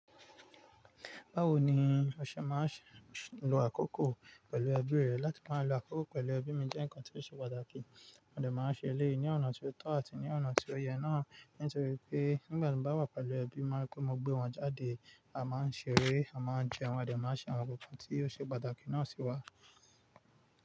Báwo ni ọṣẹ máa ń ṣe lo àkókò pẹ̀lú ẹbí rẹ? Láti máa lo àkókò pẹ̀lú ẹbí mi jẹ́ ǹkan tí ó ṣe pàtàkì. Mo dẹ̀ máa ń ṣe eléyìí ní ọ̀nà tó tọ́ àti ní ọ̀nà tí ó yẹ náà. Nítorí pé nígbà tí mo bá wà pẹ̀lú ẹbí, máa rí pé mo gbé wọn jáde, a máa ń ṣeré, a máa ń jẹun, a dẹ̀ máa ń ṣe àwọn nǹkan kan tí ó ṣe pàtàkì náà sí wa.